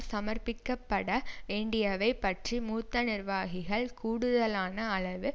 சமர்ப்பிக்கப்பட வேண்டியவை பற்றி மூத்த நிர்வாகிகள் கூடுதலான அளவு